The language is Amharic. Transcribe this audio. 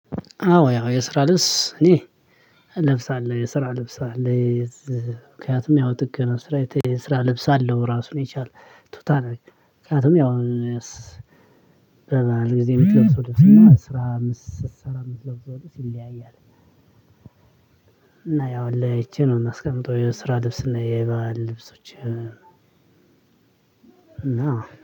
አዎ ያው የስራ ልብስ እኔ እለብሳለሁ የስራ ልብስ አለኝ። ምክንያቱም ያው ጥገና ስራ ልብስ አለው ራሱን የቻለ ቱታ ነው። ምክንያቱም ያው በባል ጊዜ የምትለው የምትለብሰው ድርጅት እና ስራ አምስት ስራ የምትለብሰው ድርጅት ይለያያል። እና ያው ለይቺ ነው የምትስቀምጠው የስራ ልብስ እና የባህል ልብሶች። እና